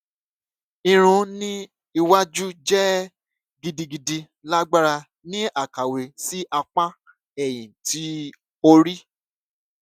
irun ni iwaju jẹ gidigidi lagbara ni akawe si apa ẹhin ti ori